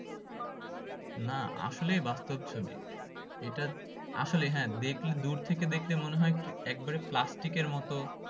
না আসলে বাস্তব ছবি এটার আসলে হ্যাঁ দেখলে দূর থেকে দেখলে মনে হয় প্রি একবারে প্লাস্টিক এর মতো